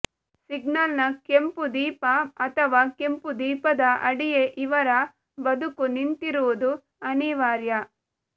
ಸಿಗ್ನಲ್ನ ಕೆಂಪುದೀಪ ಅಥವಾ ಕೆಂಪು ದೀಪದ ಅಡಿಯೇ ಇವರ ಬದುಕು ನಿಂತಿರುವುದು ಅನಿವಾರ್ಯ